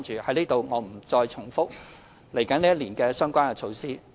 我在此不重複來年的相關措施。